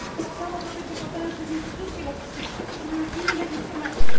To samo dotyczy potężnych instytucji lobbistycznych, które dysponują innymi instrumentami.